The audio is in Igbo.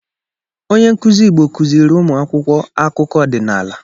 Onye nkuzi igbo kuziri umu akwukwo akụkọ ọdịnala.